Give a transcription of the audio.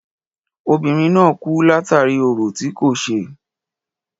Obìnrin náà kú látàri orò tí kò ṣe.